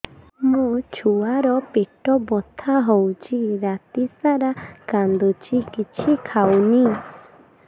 ମୋ ଛୁଆ ର ପେଟ ବଥା ହଉଚି ରାତିସାରା କାନ୍ଦୁଚି କିଛି ଖାଉନି